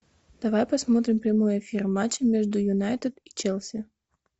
давай посмотрим прямой эфир матча между юнайтед и челси